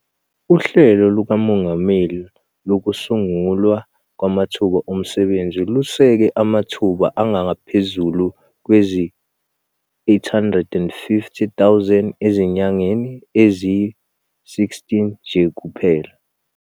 UHlelo lukaMongameli Lokusungulwa Kwamathuba Omsebenzi luseke amathuba angaphezulu kwezi-850 000 ezinyangeni eziyi-16 nje kuphela.